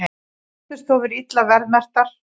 Snyrtistofur illa verðmerktar